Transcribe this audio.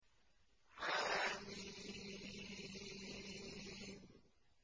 حم